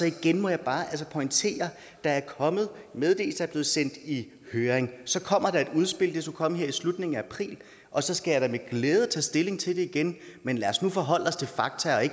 igen må jeg bare pointere at meddelelsen er blevet sendt i høring og så kommer der et udspil det skulle komme her i slutningen af april og så skal jeg da med glæde tage stilling til det igen men lad os nu forholde os til fakta